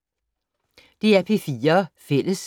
DR P4 Fælles